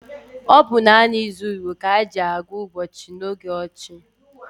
Ọ bụ naanị izu Igbo ka e ji agwuụ ụbọchị n’oge ochie.